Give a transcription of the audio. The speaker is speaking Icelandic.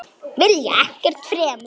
Vilja ekkert fremur.